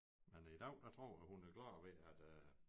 Men i dag der tror jeg hun er glad ved at øh